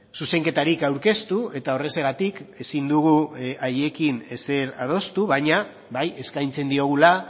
zuzenketarik aurkeztu eta horrexegatik ezin dugu haiekin ezer adostu baina bai eskaintzen diogula